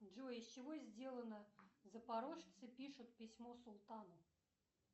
джой из чего сделано запорожцы пишут письмо султану